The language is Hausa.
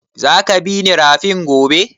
Za ka bi ni rafin gobe?